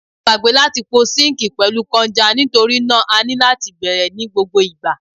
A gbagbe lati po sinkii pẹlu kọnja nitori naa a ni lati bẹrẹ ni gbogbo igba